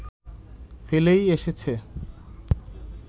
ফেলেই এসেছে